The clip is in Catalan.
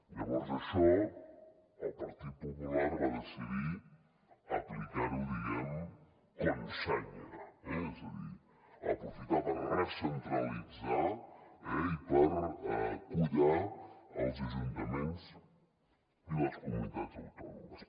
llavors això el partit popular va decidir aplicar ho diguem ne con saña és a dir aprofitar per recentralitzar eh i per collar els ajuntaments i les comunitats autònomes